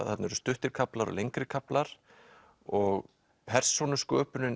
þarna eru stuttir kaflar og lengri kaflar og persónusköpunin